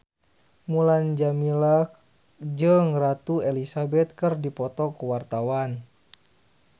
Mulan Jameela jeung Ratu Elizabeth keur dipoto ku wartawan